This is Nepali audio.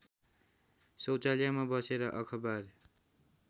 शौचालयमा बसेर अखबार